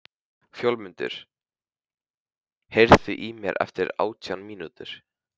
Fjólmundur, heyrðu í mér eftir átján mínútur.